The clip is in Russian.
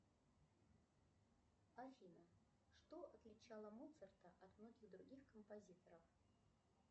афина что отличало моцарта от многих других композиторов